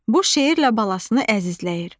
Bu şeirlə balasını əzizləyir.